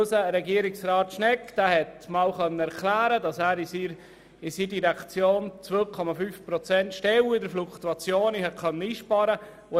Unser Regierungsrat Schnegg hat einmal erklärt, dass er in seiner Direktion 2,5 Prozent der Stellen durch Fluktuation einsparen konnte.